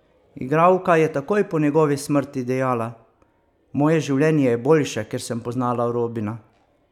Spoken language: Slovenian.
Igralka je takoj po njegovi smrti dejala: "Moje življenje je boljše, ker sem poznala Robina.